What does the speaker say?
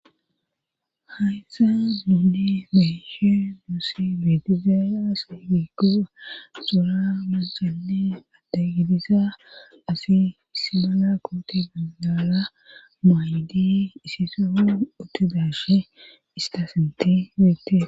Hayyssa zude meshe nuusi betizaya siifi guba xora mancanne adda gidisa asi smala koote bandala maaydi isiso otudashe istasinti weete